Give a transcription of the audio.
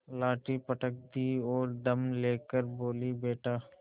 लाठी पटक दी और दम ले कर बोलीबेटा